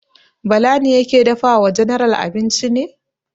Bala ne yake dafa wa general abinci ne?